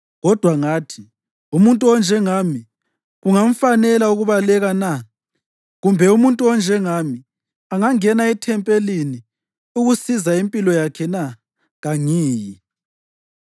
Kodwa ngathi, “Umuntu onjengami kungamfanela ukubaleka na? Kumbe umuntu onjengami angangena ethempelini ukusiza impilo yakhe na? Kangiyi!”